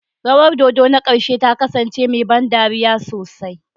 Rawar dodo ta ƙarshe ta kasance mai ban dariya sosai.